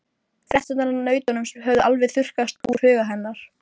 Fréttirnar af nautunum höfðu alveg þurrkast úr huga hennar.